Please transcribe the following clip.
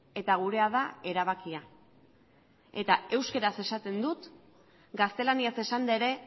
eta gurea da erabakia eta euskaraz esaten dut gaztelaniaz esanda ere